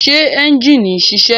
Ṣé ẹ́njìnì ń ṣiṣẹ́?